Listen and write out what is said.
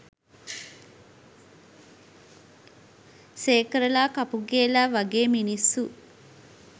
සේකරලා කපුගේලා වගේ මිනිස්සු